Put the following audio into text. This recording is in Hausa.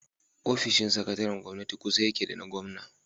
Ofishin sakataren gwamnati kusa yake da na gwamna.